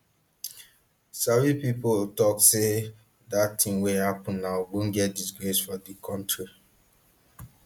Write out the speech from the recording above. sabi pipo tok say dat tin wey happun na ogbonge disgrace for di kontri